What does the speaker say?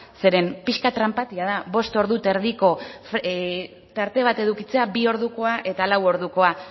zeren pixka bat tranpatia da bost ordu eta erdiko tarte bat edukitzea bi ordukoa eta lau ordukoa